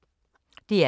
DR K